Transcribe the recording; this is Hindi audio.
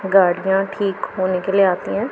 गाड़ियां ठीक होने के लिए आती हैं।